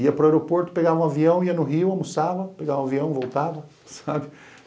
Ia para o aeroporto, pegava um avião, ia no Rio, almoçava, pegava um avião, voltava, sabe?